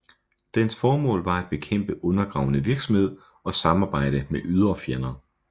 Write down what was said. Dens formål var at bekæmpe undergravende virksomhed og samarbejde med ydre fjender